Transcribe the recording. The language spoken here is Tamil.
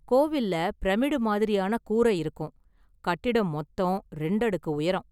கோவில்ல பிரமிடு மாதிரியான கூரை இருக்கும், கட்டிடம் மொத்தம் இரண்டு அடுக்கு உயரம்.